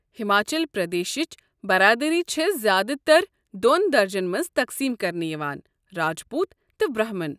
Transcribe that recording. ہماچل پردیشِچ برادری چھےٚ زیٛادٕ تر دۄن درجن منٛز تقسیٖم کرنہٕ یوان، راج پوٗت تہٕ برہمن